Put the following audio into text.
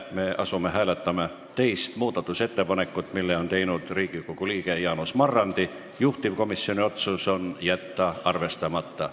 Me asume hääletama teist muudatusettepanekut, mille on teinud Riigikogu liige Jaanus Marrandi, juhtivkomisjoni otsus on jätta arvestamata.